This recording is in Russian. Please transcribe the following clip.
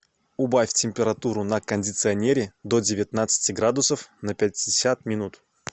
убавь температуру на кондиционере до девятнадцати градусов на пятьдесят минут